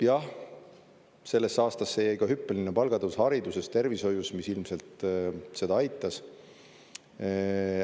Jah, sellesse aastasse jäi ka hüppeline palgatõus hariduses, tervishoius, mis ilmselt seda aitas.